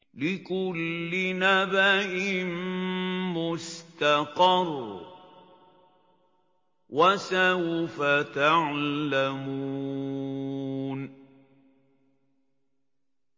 لِّكُلِّ نَبَإٍ مُّسْتَقَرٌّ ۚ وَسَوْفَ تَعْلَمُونَ